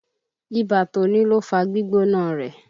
Ibà tó ní ló fá gbígbóná rẹ̀.